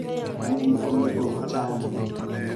Winy onego onchan.